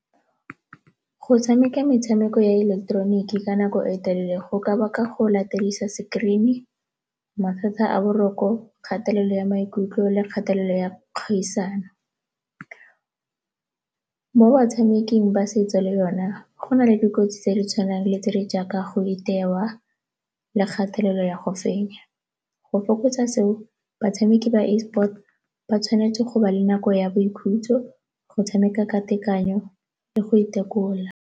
Go tshameka metshameko ya ileketeroniki ka nako e telele go ka baka go latedisa screen-i, mathata a boroko, kgatelelo ya maikutlo le kgatelelo ya kgaisano. Mo batshameking ba , go na le dikotsi tse di tshwanang le tse di jaaka go itewa le kgatelelo ya go fenya, go fokotsa seo, batshameki ba e-sports ba tshwanetse go ba le nako ya boikhutso, go tshameka ka tekanyo le go itekola.